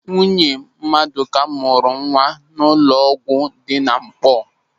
Nwunye Madụka mụrụ nwa n'ụlọ ọgwụ dị na Nkpọọ.